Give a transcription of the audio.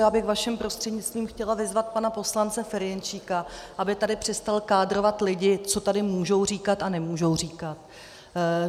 Já bych vaším prostřednictvím chtěla vyzvat pana poslance Ferjenčíka, aby tady přestal kádrovat lidi, co tady můžou říkat a nemůžou říkat.